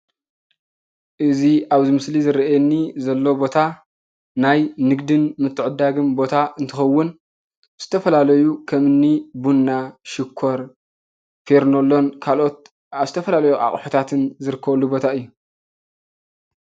እዚ ኣብዚ ምስሊ ዝረኣየኒ ዘሎ ቦታ ናይ ንግድን ምትዕድዳግን ቦታ እንትከውን ዝተፈላለዩ ከምኒ ቡና፣ ሽኮር ፈርኔሎን ካልኦት ኣብ ዝተፈላለዩ ኣቁሕታት ዝርከበሉ ቦታ እዩ።